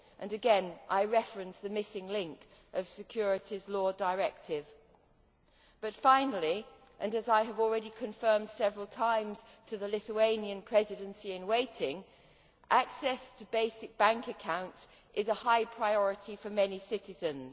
Again, I reference the missing link of the Securities Law Directive. But finally, and as I have already confirmed several times to the Lithuanian Presidency in waiting, access to basic bank accounts is a high priority for many citizens.